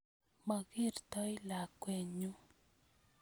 Mokertoi lakwet nyu